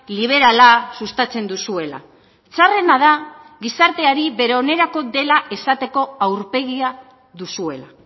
liberala sustatzen duzuela txarrena da gizarteari bere onerako dela esateko aurpegia duzuela